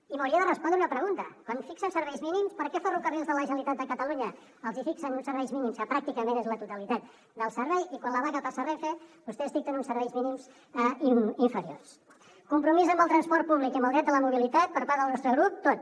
i m’hauria de respondre una pregunta quan fixen serveis mínims per què a ferrocarrils de la generalitat de catalunya els hi fixen uns serveis mínims que pràcticament és la totalitat del servei i quan la vaga passa a renfe vostès dicten uns serveis mínims inferiors compromís amb el transport públic i amb el dret a la mobilitat per part del nostre grup tot